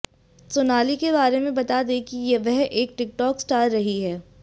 सोनाली के बारे में बता दें कि वह एक टिकटॉक स्टार रही हैं